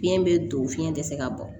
Biyɛn bɛ don fiɲɛ tɛ se ka bɔ